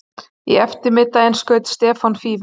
Í eftirmiðdaginn skaut Stefán Fífil.